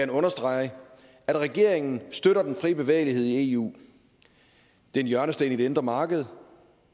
understrege at regeringen støtter den fri bevægelighed i eu det er en hjørnesten i det indre marked